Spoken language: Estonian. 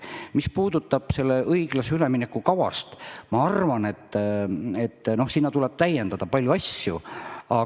Mis puudutab õiglase ülemineku kava, siis ma arvan, et selles tuleb paljusid asju täiendada.